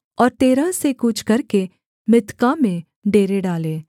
और तेरह से कूच करके मित्का में डेरे डाले